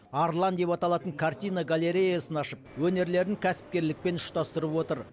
арлан деп аталатын картина галереясын ашып өнерлерін кәсіпкерлікпен ұштастырып отыр